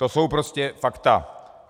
To jsou prostě fakta.